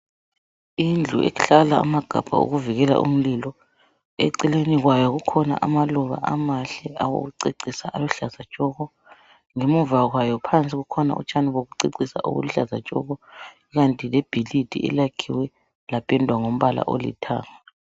Indlu ehlala amagabha okuvikela umlilo eceleni kwayo kukhona amaluba amahle awokucecisa aluhlaza tshoko ngemuva kwayo phansi kukhona utshani bokucecisa obuluhlaza tshoko ikanti lebhilidi elakhiwe lapendwa ngombala olithanga.